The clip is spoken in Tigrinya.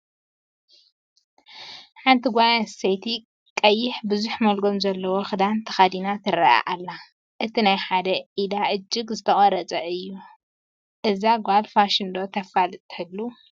ሓንቲ ጓል ኣነስተይቲ ቀይሕ ብዙሕ ሞልጎም ዘለዎን ክዳን ተኸዲና ትረአ ኣላ፡፡ እቲ ናይ ሓደ ኢዳ እጅገ ዝተቆረፀ እዩ፡፡ እዛ ጓል ፋሽን ዶ ተፋልጥ ትህሉ?